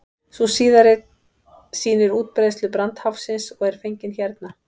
sú síðari sýnir útbreiðslu brandháfsins og er fengin hérna